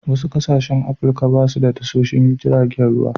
Wasu ƙasashen Afrika ba su da tashoshon giragen ruwa.